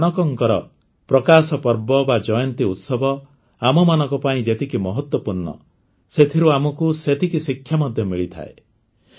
ଗୁରୁ ନାନକଙ୍କର ପ୍ରକାଶପର୍ବ ବା ଜୟନ୍ତୀ ଉତ୍ସବ ଆମମାନଙ୍କ ପାଇଁ ଯେତିକି ମହତ୍ୱପୂର୍ଣ୍ଣ ସେଥିରୁ ଆମକୁ ସେତିକି ଶିକ୍ଷା ମଧ୍ୟ ମିଳିଥାଏ